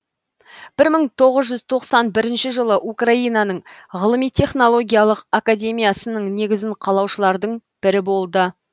бір мың тоғыз жүз тоқсан бірінші жылы украинаның ғылыми технологиялық академиясының негізін қалаушылардың бірі болды